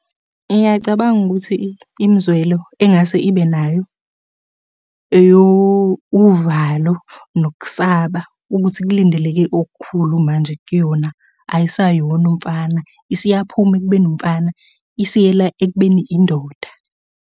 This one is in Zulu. Ngiyacabanga ukuthi imizwelo engase ibe nayo eyo uvalo nokusaba ukuthi kulindeleke okukhulu manje kuyona. Ayisayona umfana, isiyaphuma ekubeni umfana isiyela ekubeni indoda.